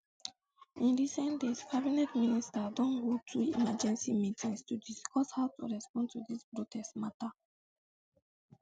in recent days cabinet ministers don hold two emergency meetings to discuss how to respond to dis protest mata